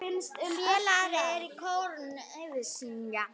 Félagar úr kórnum Ægisif syngja.